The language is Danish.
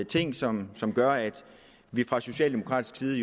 ting som som gør at vi fra socialdemokratisk side